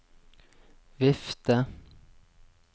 vifte